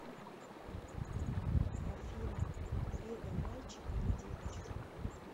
афина леда мальчик или девочка